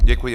Děkuji.